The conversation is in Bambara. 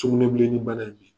Sugunɛbilen ni bana ye mun ye?